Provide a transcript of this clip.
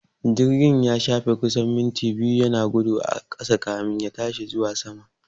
Jirgin ya shafe kusan minti biyu yana gudu a ƙasa kamin ya tashi zuwa sama